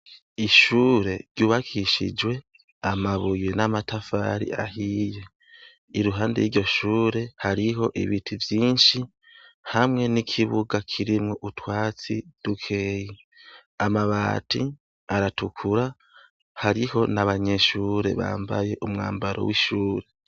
Ishure ryubakishijwe amabuye n'amatafari ahiye. Iruhande y'iryo shure hariho ibiti vyinshi hamwe n'ikibuga kirimwo utwatsi dukeyi. Amabati aratukura, hariho n'abanyeshure bambaye umwambaro w'ishure.